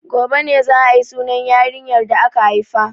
Gobe ne za a yi sunan yarinyar da aka haifa.